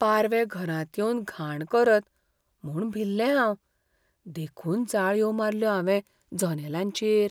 पारवे घरांत येवन घाण करत म्हूण भिल्लें हांव देखून जाळयो मारल्यो हांवें जनेलांचेर.